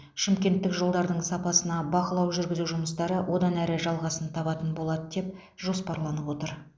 шымкенттік жолдардың сапасына бақылау жүргізу жұмыстары одан әрі жалғасын табатын болады деп жоспарланып отыр